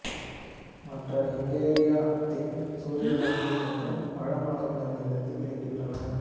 மற்ற ஹங்கேரிய தேன் சூரியகாந்தி மற்றும் பழ மரங்களிலிருந்து கிடைக்கின்றது